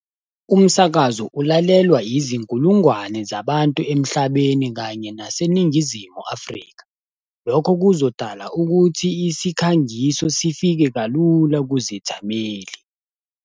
Umsakazo ulalelwa izinkulungwane zabantu emhlabeni kanye naseNingizimu Afrika. Lokho kuzodala ukuthi isikhangiso sifike kalula kuzithameli.